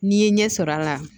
N'i ye ɲɛ sɔrɔ a la